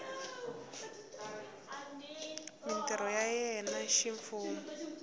mintirho ya yena ya ximfumo